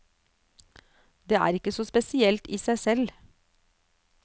Det er ikke så spesielt i seg selv.